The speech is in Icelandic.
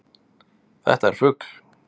Þetta er fugl.